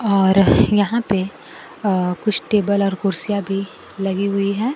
और यहां पे कुछ टेबल और कुर्सियां भी लगी हुई है।